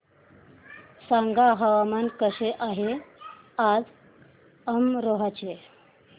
सांगा हवामान कसे आहे आज अमरोहा चे